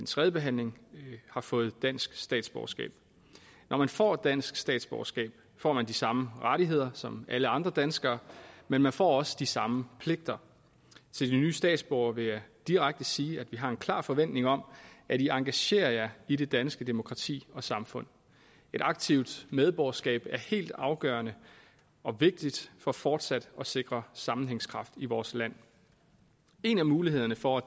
tredjebehandling har fået dansk statsborgerskab når man får dansk statsborgerskab får man de samme rettigheder som alle andre danskere men man får også de samme pligter til de nye statsborgere vil jeg direkte sige vi har en klar forventning om at i engagerer jer i det danske demokrati og samfund et aktivt medborgerskab er helt afgørende og vigtigt for fortsat at sikre sammenhængskraft i vores land en af mulighederne for at